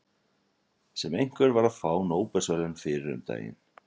Sem einhver var að fá Nóbelsverðlaunin fyrir um daginn.